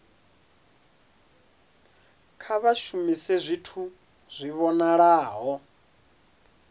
kha vha shumise zwithu zwi vhonalaho